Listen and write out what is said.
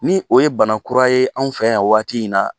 Ni o ye bana kura ye anw fɛ yan waati in na.